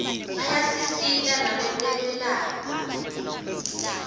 ayasisita nakwetekwelapha